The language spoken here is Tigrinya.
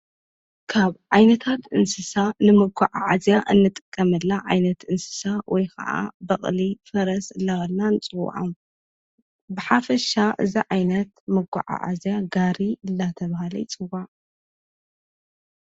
ካብ ዓይነታት እንስሳ ንመጓዓዓዝያ እንጠቀመላ ዓይነት እንስሳ ወይ ከዓ በቕሊ ፈረስ ላበልናን ጽዖ ብሓፍሻ ዝዓይነት መገዓ ዓዚያ ጋሪ እደተበሃለት ንፅዋዓ።